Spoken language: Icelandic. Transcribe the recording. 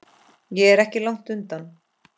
Ég er ekki langt undan.